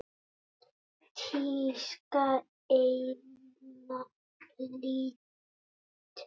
Tíska eða list?